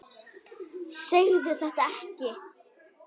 Segðu þetta ekki.